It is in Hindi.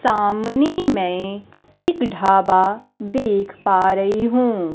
सामने मै एक ढाबा देख पा रही हूं।